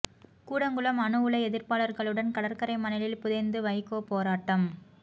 கூடங்குளம் அணு உலை எதிர்ப்பாளர்களுடன் கடற்கரை மணலில் புதைந்து வைகோ போராட்டம்